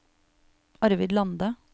Arvid Lande